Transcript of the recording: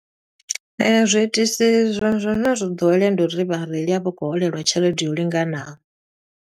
Zwiitisi zwa zwa zwine zwo ḓowelea ndi uri vhareili a vha khou holeliwa tshelede yo linganaho.